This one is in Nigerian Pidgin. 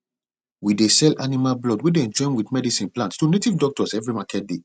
we dey sell animal blood wey dem join wit medicine plant to native doctors every market day